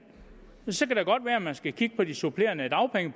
så kan det godt være at man skulle kigge på de supplerende dagpenge